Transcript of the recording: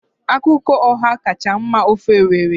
Akwukwo Ọha kacha mma n'ofe Owerri